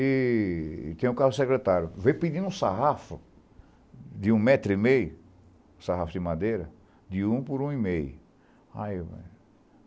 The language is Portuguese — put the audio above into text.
E tem um carro secretário, veio pedindo um sarrafo de um metro e meio, um sarrafo de madeira, de um por um e meio. Aí eu